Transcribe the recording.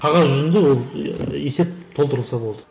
қағаз жүзінде ол ііі есеп толтырылса болды